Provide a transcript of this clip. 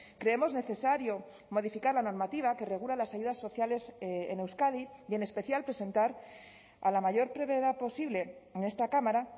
creemos necesario modificar la normativa que regula las ayudas sociales en euskadi y en especial presentar a la mayor brevedad posible en esta cámara